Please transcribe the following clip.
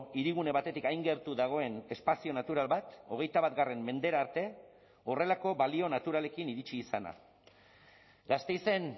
hirigune batetik hain gertu dagoen espazio natural bat hogeita bat mendera arte horrelako balio naturalekin iritsi izana gasteizen